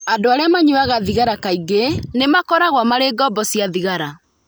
Andũ arĩa manyuaga thigara kaingĩ nĩ makoragwo marĩ ngombo cia thigara.